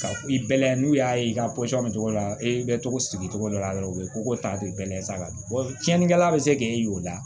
Ka i bɛ layɛ n'u y'a ye i ka bɛ cogo dɔ la e bɛ cogo sigi cogo dɔ la dɔrɔn u bɛ koko ta ten bɛɛ sa cɛnnikɛla bɛ se k'e y'o la